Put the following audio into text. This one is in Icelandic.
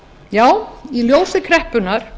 já í ljósi kreppunnar